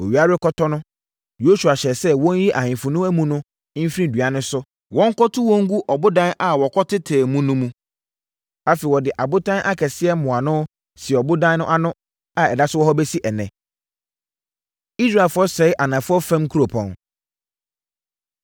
Owia rekɔtɔ no, Yosua hyɛɛ sɛ wɔnyiyi ahemfo no amu no mfiri nnua no so na wɔnkɔto wɔn ngu ɔbodan a wɔkɔtetɛɛ mu no mu. Afei, wɔde abotan akɛseɛ mmoano sii ɔbodan no ano a ɛda so wɔ hɔ bɛsi ɛnnɛ. Israelfoɔ Sɛe Anafoɔ Fam Nkuropɔn